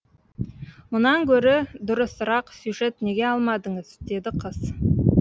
мұнан гөрі дұрысырақ сюжет неге алмадыңыз деді қыз